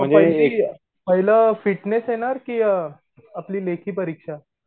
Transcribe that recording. मग पहिली पाहिलं फिटनेस येणार कि अ आपली लेखी परीक्षा?